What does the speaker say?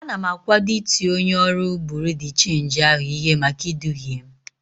Ana m akwado iti onye ọrụ buru de chenji ahụ ihe maka iduhie m.